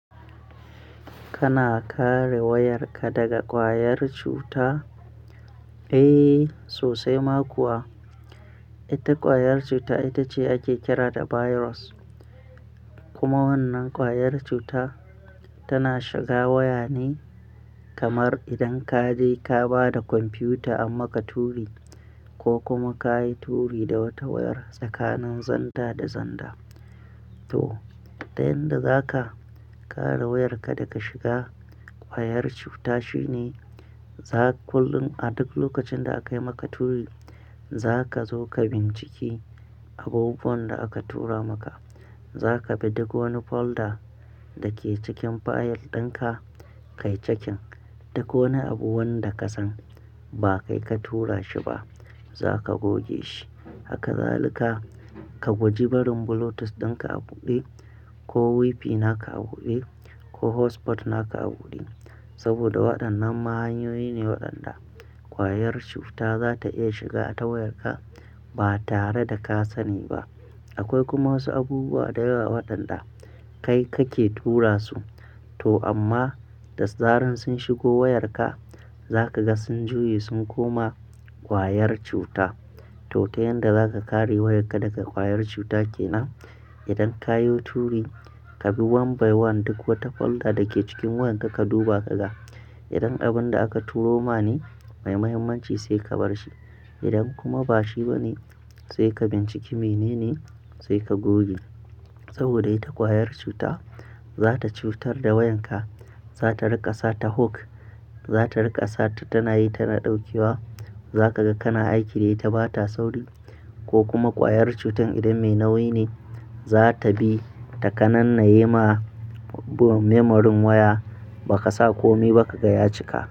Kana kare wayarka daga ƙwayar cuta? Eh sosai ma kuwa. Ita ƙwayar cuta ita ce ake kira da virus. Kuma wannan ƙwayar cuta tana shiga waya ne kamar idan ka je ka ba da kwamfiyuta amma ka turi ko kuma ka yi turi da wata wayar tsakanin zanda da zanda. To, tayan da za ka kare wayarka daga shiga ƙwayar cuta shine za kullum a duk lokacin da aka yi maka turi, za ka zo ka bincike abubuwan da aka tura maka. Za ka bi duk wani folder da ke cikin fayil ɗin ka, ka yi ciki. Duk wane abu wanda ka san ba kai ka tura shi ba, za ka goge shi. Haka za lika ka gwaji barin bluetooth ɗin ka a buɗe ko WiFi naka a buɗe ko hotspot naka a buɗe. Saboda waɗannan ma hanyoyi ne waɗanda ƙwayar cuta za ta iya shiga ta wayarka ba tare da ka sani ba. Akwai kuma wasu abubuwa da yawa waɗanda kai kake tura su, to amma da zaran sun shigo wayarka za ka ga sun juye sun koma ƙwayar cuta. To, ta yanda za ka kare wayarka daga ƙwayar cuta kenan? Idan ka yo turi, ka bi wan by wan duk wata folder da ke cikin wayarka ka duba ka ga. Idan abin da aka turo ma ne mai muhimmanci sai ka bar shi. Idan kuma ba shi ba ne, sai ka bincike mene ne sai ka goge. Saboda ita ƙwayar cuta za ta cutar da wayanka, za ta riƙa sa ta hook, za ta riƙa sa ta tana yi ta daukewa. Za ka ga kana aiki dai ta ba ta sauri ko kuma ƙwayar cutar idan mai nauyi ne, za ta bi ta kananne ye ma memorin waya ba ka sa kome ba kaga ya cika.